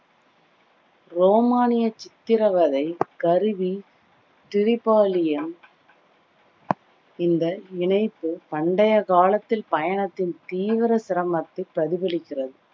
ரோமானிய சித்திரவதை கருவி டிரிபாலியம் இந்த இணைப்பு பண்டைய காலத்தில் பயணத்தின் தீவிர சிரமத்தை பிரதிபலிக்கிறது